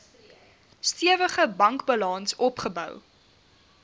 stewige bankbalans opgebou